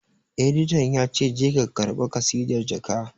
Editan ya ce 'Je ka karɓa kasidar ka'!